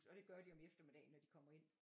Og det gør de om eftermiddagen når de kommer ind